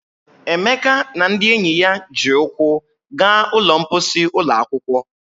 Emeka na ndị enyi ya ji ụkwụ gaa ụlọ mposi ụlọ akwụkwọ.